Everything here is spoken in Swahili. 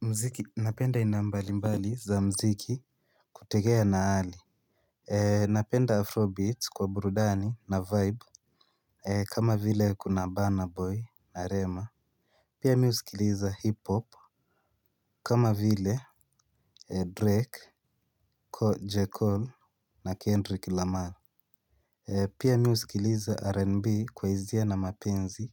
Mziki napenda aina mbali mbali za mziki kutegea na hali. Napenda Afrobeat kwa burudani na vibe kama vile kuna Banner Boy na Rema. Pia mi usikiliza hip-hop. Kama vile Drake kwa Jekyll na Kendrick Lamar. Pia mi usikiliza R&B kwa hisia na mapenzi.